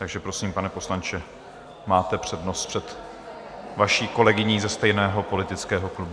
Takže prosím, pane poslanče, máte přednost před vaší kolegyní ze stejného politického klubu.